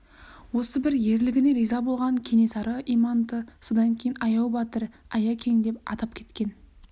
осы бір ерлігіне риза болған кенесары иманды содан кейін аяу батыр аякең деп атап кеткен